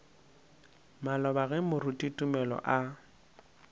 maloba ge moruti tumelo a